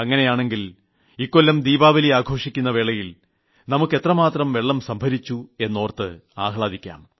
അങ്ങനെയാണെങ്കിൽ ഇക്കൊല്ലം ദീപാവലി ആഘോഷിക്കുന്ന വേളയിൽ നമ്മൾ എത്രമാത്രം വെള്ളം സംഭരിച്ചു എന്നോർത്ത് നമുക്ക് ആഹ്ലാദിക്കാം